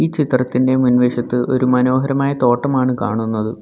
ഈ ചിത്രത്തിൻ്റെ മുൻവശത്ത് ഒരു മനോഹരമായ തോട്ടമാണ് കാണുന്നത്.